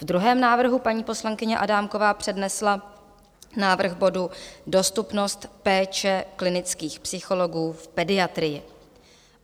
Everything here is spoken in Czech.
Ve druhém návrhu paní poslankyně Adámková přednesla návrh bodu Dostupnost péče klinických psychologů v pediatrii.